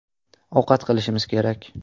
Ovqat qilishimiz kerak.